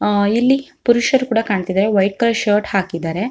ಅಹ್ ಇಲ್ಲಿ ಪುರುಷರು ಕೂಡ ಕಾಣ್ತಿದಾರೆ ವೈಟ್ ಕಲರ್ ಶರ್ಟ್ ಹಾಕಿದಾರೆ.